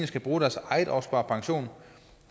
skal bruge deres egen opsparede pension